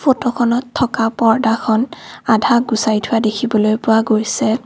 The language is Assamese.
ফটোখনত থকা পৰ্দাখন আধা গুচাই থোৱা দেখিবলৈ পোৱা গৈছে।